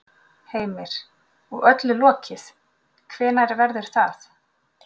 Heimir: Og öllu lokið, hvenær verður það?